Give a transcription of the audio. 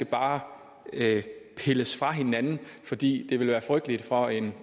bare skal pilles fra hinanden fordi det ville være frygteligt for en